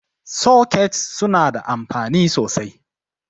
Sokets suna da anfani sosai.